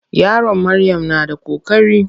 Yaron Maryam na da koƙari.